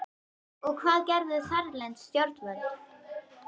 Og hvað gerðu þarlend stjórnvöld?